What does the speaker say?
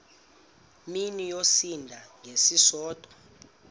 mini yosinda ngesisodwa